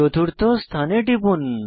চতুর্থ স্থানে টিপুন